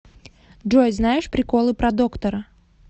джой знаешь приколы про доктора